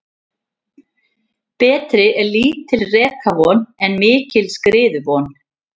Betri er lítil rekavon en mikil skriðuvon.